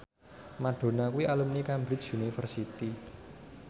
Madonna kuwi alumni Cambridge University